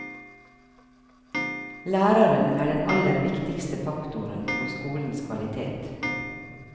Læreren er den aller viktigste faktoren på skolens kvalitet.